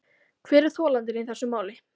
Hver er þolandinn í þessu máli.